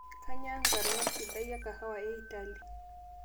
kainyoo enkarna sidai e kahawa e italy